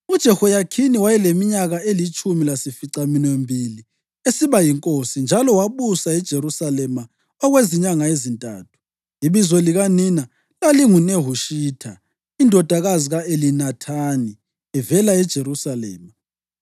UJehoyakhini wayeleminyaka elitshumi lasificaminwembili esiba yinkosi, njalo wabusa eJerusalema okwezinyanga ezintathu. Ibizo likanina lalinguNehushita indodakazi ka-Elinathani; evela eJerusalema.